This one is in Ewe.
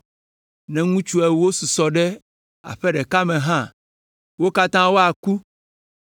Ne ŋutsu ewo susɔ ɖe aƒe ɖeka me hã, wo katã woaku.